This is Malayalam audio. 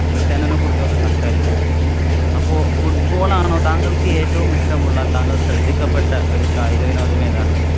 ക്രിസ്റ്റ്യാനോയെ കുറിച്ചൊക്കെ സംസാരിച്ചു. അപ്പ football ആണോ, താങ്കള്‍ക്ക് ഏറ്റവും ഇഷ്ടമുള്ള താങ്കള്‍ ശ്രദ്ധിക്കപ്പെട്ട ഒരു കായികവിനോദം ഏതാണ്?